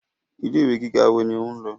Ilé ìwé gíga wo ni o ń lọ?